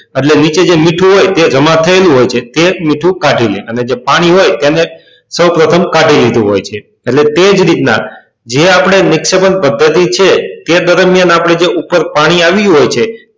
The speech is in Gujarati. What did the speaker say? એટલે કે જે મીઠું હોય છે તે નીચે જમા થયેલું હોય છે તે મીઠું કાઢી લે અને જે પાણી હોય તેને સૌ પ્રથમ કાઢી લીધું હોય છે એટલે તે જ રીતના જે આપણે નિક્ષેપણ પદ્ધતિ છે તે દરમિયાન આપણે જે ઉપર પાણી આવ્યું હોય છે.